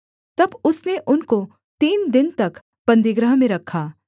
तब उसने उनको तीन दिन तक बन्दीगृह में रखा